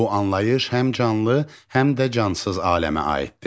Bu anlayış həm canlı, həm də cansız aləmə aiddir.